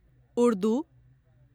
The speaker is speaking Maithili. उर्दू